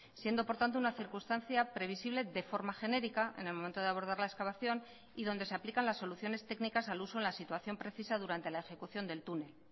siendo por tanto una circunstancia previsible de forma genérica en el momento de abordar la excavación y donde se aplican las soluciones técnicas al uso en la situación precisa durante la ejecución del túnel